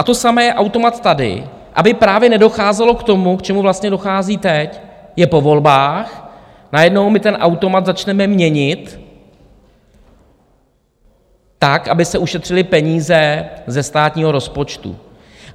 A to samé je automat tady, aby právě nedocházelo k tomu, k čemu vlastně dochází teď - je po volbách, najednou my ten automat začneme měnit tak, aby se ušetřily peníze ze státního rozpočtu.